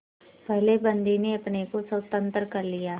पहले बंदी ने अपने को स्वतंत्र कर लिया